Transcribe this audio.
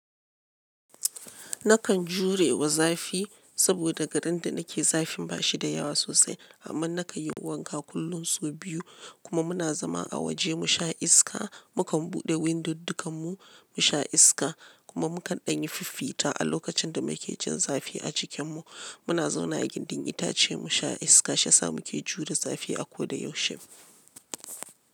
Nakan jurewa zafi saboda garin da nake zafin ba shi da yawa sosai amma na kan yi wanka kullum so biyu kuma muna zama a waje mu sha iska. Mu kan buɗe windod dukan mu mu sha iska kuma mu kan ɗanyi fifita a lokacin da make cin zafi a cikin mu. Muna zauna a gidan itace mu sha iska, sha sa muke jure zafi a ko da yaushe.